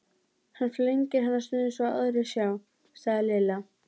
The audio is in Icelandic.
Hann flengir hann stundum svo aðrir sjá, sagði Lilla.